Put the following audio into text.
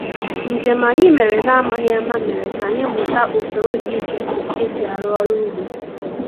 Njem anyị mere na-amaghị ama mere ka anyị mụta usoro dị iche iche e si arụ ọrụ ugbo